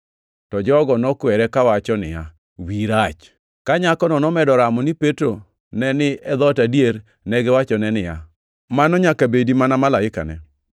To jogo nokwere kawacho niya, “Wiyi rach!” Ka nyakono nomedo ramo ni Petro ne ni e dhoot adier, negiwachone niya, “Mano nyaka bedi mana malaikane!”